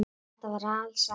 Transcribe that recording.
Þetta var alsæla.